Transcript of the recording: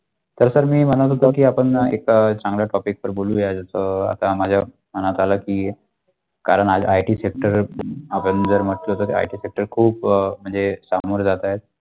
जर तर मी म्हणत होत की आपण एका चांगला topic वर बोलूया अ आता माज्या मनात आला की कारण आज IT sector आपण जर म्हटलं तर IT sector खूप अ म्णजे समोर जात आहेत.